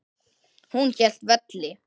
Hún hélt velli.